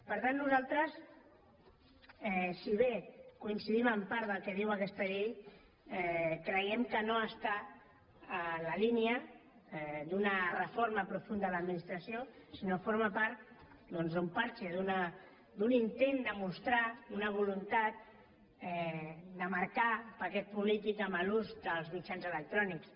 per tant nosaltres si bé coincidim en part del que diu aquesta llei creiem que no està en la línia d’una reforma profunda de l’administració sinó que forma part doncs d’un pegat d’un intent de mostrar una voluntat de marcar paquet polític amb l’ús dels mitjans electrònics